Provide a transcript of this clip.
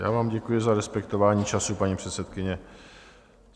Já vám děkuji za respektování času, paní předsedkyně.